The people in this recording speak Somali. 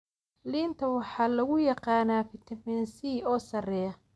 Liinta waxaa lagu yaqaanaa fiitamiin C oo sarreeya.